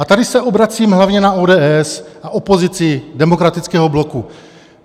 A tady se obracím hlavně na ODS a opozici demokratického bloku.